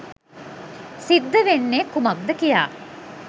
සිද්ධ වෙන්නේ කුමක්ද කියා.